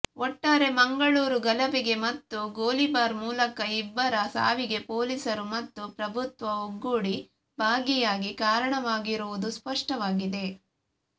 ಒಟ್ಟಾರೆ ಮಂಗಳೂರು ಗಲಭೆಗೆ ಮತ್ತು ಗೋಲಿಬಾರ್ ಮೂಲಕ ಇಬ್ಬರ ಸಾವಿಗೆ ಪೊಲೀಸರು ಮತ್ತು ಪ್ರಭುತ್ವ ಒಗ್ಗೂಡಿ ಭಾಗಿಯಾಗಿ ಕಾರಣವಾಗಿರುವುದು ಸ್ಪಷ್ಟವಾಗಿದೆ